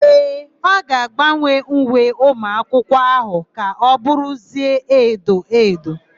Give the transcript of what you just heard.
Ee, ọ ga-agbanwe uwe ụmụakwụkwọ áhụ̀ ka ọ bụrụzie edo edo.